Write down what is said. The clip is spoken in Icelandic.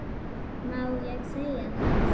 Má ekki segja það?